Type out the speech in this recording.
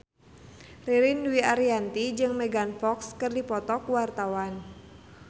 Ririn Dwi Ariyanti jeung Megan Fox keur dipoto ku wartawan